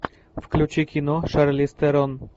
включи кино шарлиз терон